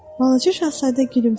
Balaca şahzadə gülümsədi.